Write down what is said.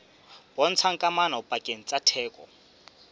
bontshang kamano pakeng tsa theko